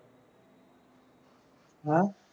ਹਾਂ